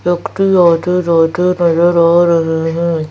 आते जाते नजर आ रहे हैं।